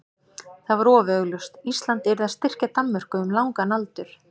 það var of augljóst: Ísland yrði að styrkja Danmörku um langan aldur.